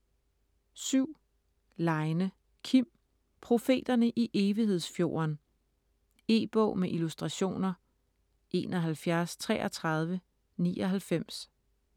Leine, Kim: Profeterne i Evighedsfjorden E-bog med illustrationer 713399